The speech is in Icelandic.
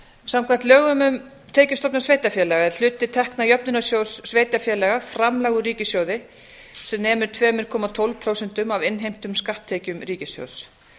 samkvæmt lögum um tekjustofna sveitarfélaga er hluti tekna jöfnunarsjóðs sveitarfélaga framlag úr ríkissjóði sem nemur af innheimtum skatttekjum ríkissjóðs